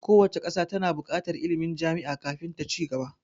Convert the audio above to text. Kowace ƙasa ta na buƙatar ilmin jami'a kafin ta ci gaba